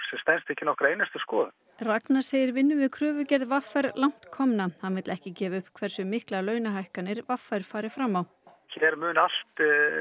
ekki nokkra einustu skoðun Ragnar segir vinnu við kröfugerð v r langt komna hann vill ekki gefa upp hversu miklar launahækkanir v r fari fram á hér mun allt